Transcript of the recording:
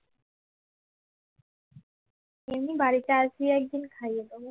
এমনি বাড়িতে আসবে একদিন খাইয়ে দেবো